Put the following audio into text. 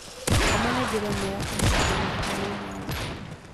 Gũkoma nĩ njĩra ĩmwe ya kũhetũkia mahinda ma mwanya